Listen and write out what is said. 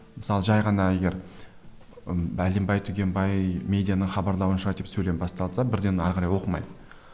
мысалы жай ғана егер бәленбай түгенбай медианың хабарлауынша деп сөйлем басталса бірден әрі қарай оқымай